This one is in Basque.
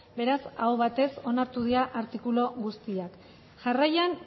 beraz aho batez onartu dira artikulu guztiak jarraian